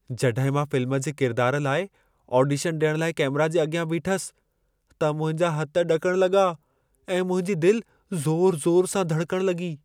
जॾहिं मां फ़िल्म जे किरिदार लाइ आडीशनु ॾियण लाइ कैमेरा जे अॻियां बीठसि, त मुंहिंजा हथ ॾकण लॻा ऐं मुंहिंजी दिलि ज़ोर-ज़ोर सां धड़कणि लॻी।